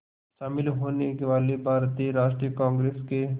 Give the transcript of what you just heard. शामिल होने वाले भारतीय राष्ट्रीय कांग्रेस के